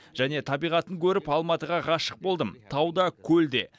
және табиғатын көріп алматыға ғашық болдым тау да көл де